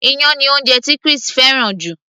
iyán ni oúnjẹ tí Chris fẹ́ràn jù